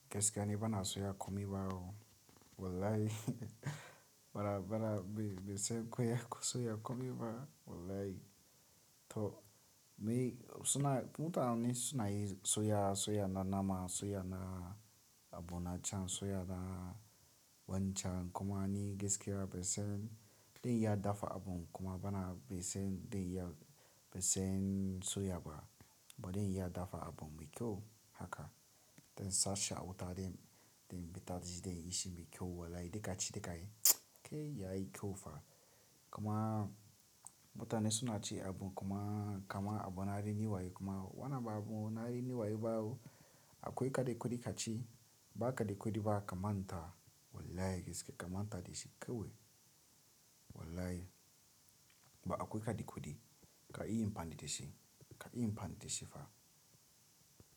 Gaskiya ni bana soya, kuma bawo wallahi. Bara, bara bai, bai sai goya soya kuma ba wallahi. To, me suna mutane suna yi soya, soya na nama, soya na abu na can, soya na wancan kuma ni gaskiya bai saimi dain ya dafa abu kuma bana bai saimi dain ya bai saimi soya ba. Ba dain ya dafa abu mai kyau haka. Daina sashi a wuta dain, dain bata ji dain yi shi mai kyau wallahi. Da kaci da ka yi, kai yayi kyau fa. Kuma mutane suna ci abu kuma, kama abu na rini wayo kuma wanna ba abu na rini wayo bawo akwai kaɗai kuɗi kaci. Ba kaɗai kuɗi ba, ka manta wallahi gaskiya ka manta da shi kawai wallahi. Ba akwai kaɗai kuɗi ka iya yi mfan da shi, ka iya yi mfan da shi fa.